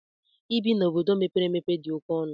Ibi n'ime obodo mepere emepe dị oke ọnụ.